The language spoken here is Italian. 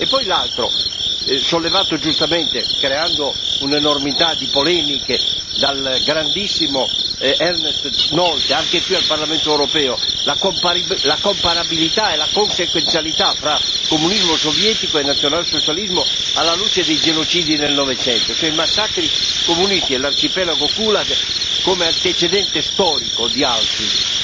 E poi l'altro, sollevato giustamente, creando un'enormità di polemiche, dal grandissimo Ernest Nolte anche qui al Parlamento europeo la comparabilità e la consequenzialità fra comunismo sovietico e nazionalsocialismo alla luce di genocidi nel Novecento, cioè i massacri comunisti e l'Arcipelago Gulag come antecedente storico di Auschwitz.